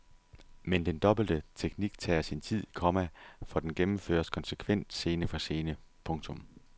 Men den dobbelte teknik tager sin tid, komma for den gennemføres konsekvent scene for scene. punktum